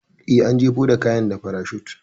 Eh, an jefo da kayan da farashut.